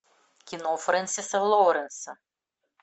кино фрэнсиса лоуренса